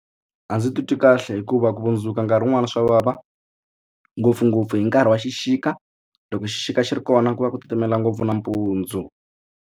A ndzi titwi kahle hikuva ku vundzuka nkarhi wun'wani swa vava ngopfungopfu hi nkarhi wa xixika loko xixika xi ri kona ku va ku titimela ngopfu nampundzu.